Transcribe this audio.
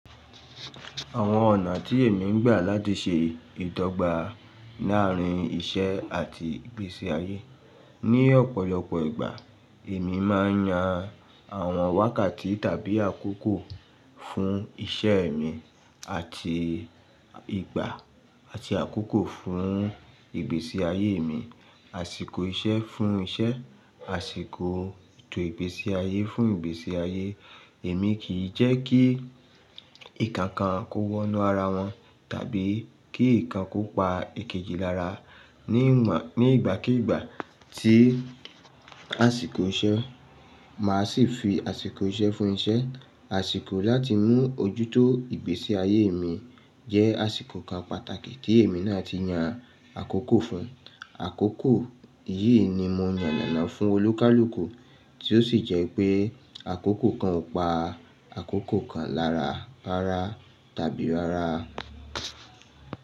Àwọn ọ̀nà tí èmi ń gbà láti ṣe ìdọ́gba láàárín iṣẹ́ àti ìgbésí ayé. Ní ọ̀pọ̀lọpọ̀ ìgbà, èmi máa ń yan àwọn wákàtí tàbí àkókò fún iṣẹ́ mi àti ìgbà àti àkókò fún ìgbésí ayé mi. Àsìkò iṣẹ́ fún iṣẹ́, àsìkò ètò ìgbésí ayé fún ìgbésí ayé. Èmi kì í jẹ́ kí ǹkan kan kó wọná ara wọn tàbí kí ǹkan kan kó pa èkejì lára. Ní ìgbàkígbà tí àsìkò iṣẹ́, màá sì fi àsìkò iṣẹ́ fún iṣẹ́. Àsìkò láti mú ojútó ìgbésí ayé mi jẹ́ àsìkò kan pàtàkì tí èmi náà ti yan àkókò fún. Àkókò yìí ni mo yàn lánàá fún olókàlùkù tí ó sì jẹ́ pé àkókò kan ò pa àkókò kan lára, rára tàbí rára.